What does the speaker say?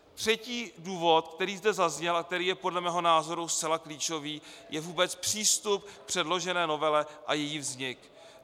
Třetí důvod, který zde zazněl a který je podle mého názoru zcela klíčový, je vůbec přístup k předložené novele a její vznik.